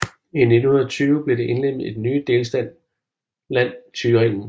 I 1920 blev det indlemmet i den nye delstat Land Thüringen